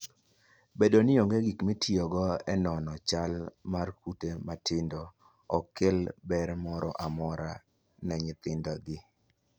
Bedo ni onge gik mitiyogo e nono chal mar kute matindo, ok kel ber moro amora ne nyithindgi.